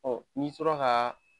n'i tora ka